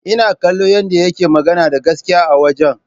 Ina kallon yadda yake magana da gaskiya a wajen.